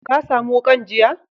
Ka samu wukan jiya?